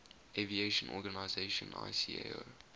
aviation organization icao